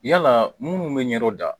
Yalaa munnu bɛ ɲɛrɔ da